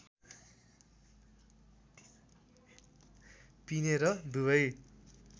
पिने र दुबै